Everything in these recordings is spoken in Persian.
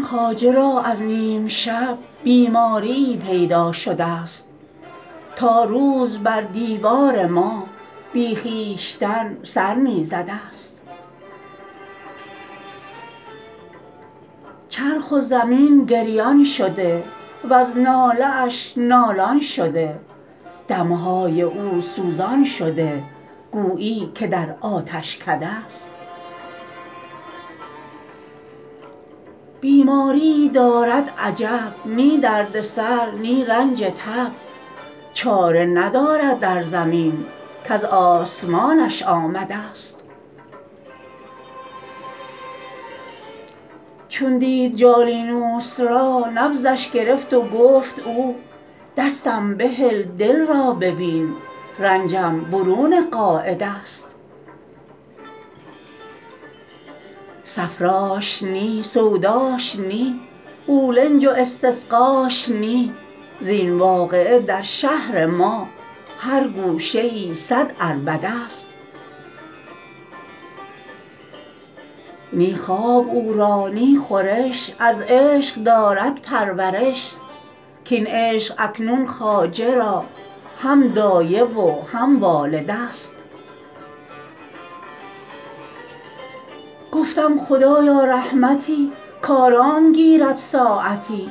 خواجه را از نیم شب بیماریی پیدا شده ست تا روز بر دیوار ما بی خویشتن سر می زده ست چرخ و زمین گریان شده وز ناله اش نالان شده دم های او سوزان شده گویی که در آتشکده ست بیماریی دارد عجب نی درد سر نی رنج تب چاره ندارد در زمین کز آسمانش آمده ست چون دید جالینوس را نبضش گرفت و گفت او دستم بهل دل را ببین رنجم برون قاعده ست صفراش نی سوداش نی قولنج و استسقاش نی زین واقعه در شهر ما هر گوشه ای صد عربده ست نی خواب او را نی خورش از عشق دارد پرورش کاین عشق اکنون خواجه را هم دایه و هم والده ست گفتم خدایا رحمتی کآرام گیرد ساعتی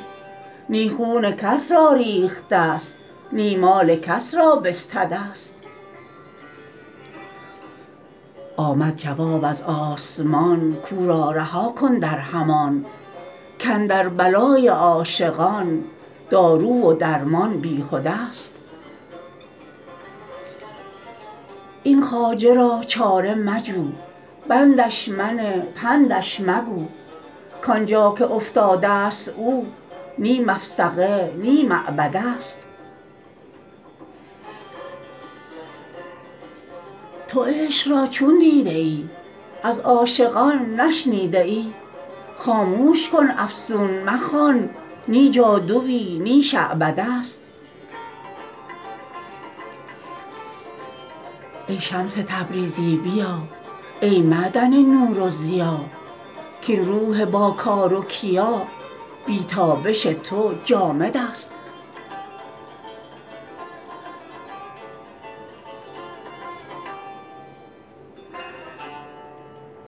نی خون کس را ریخته ست نی مال کس را بستده ست آمد جواب از آسمان کو را رها کن در همان کاندر بلای عاشقان دارو و درمان بیهدست این خواجه را چاره مجو بندش منه پندش مگو کان جا که افتادست او نی مفسقه نی معبده ست تو عشق را چون دیده ای از عاشقان نشنیده ای خاموش کن افسون مخوان نی جادوی نی شعبده ست ای شمس تبریزی بیا ای معدن نور و ضیا کاین روح باکار و کیا بی تابش تو جامدست